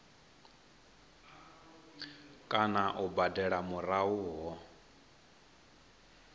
kana u badela murahu ho